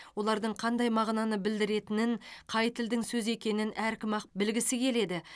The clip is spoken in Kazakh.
олардың қандай мағынаны білдіретінін қай тілдің сөзі екенін әркім ақ білгісі келеді